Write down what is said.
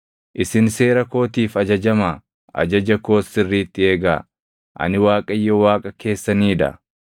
Isin seera kootiif ajajamaa; ajaja koos sirriitti eegaa; ani Waaqayyo Waaqa keessanii dha.